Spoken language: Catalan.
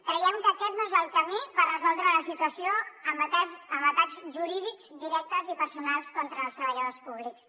creiem que aquest no és el camí per resoldre la situació amb atacs jurídics directes i personals contra els treballadors públics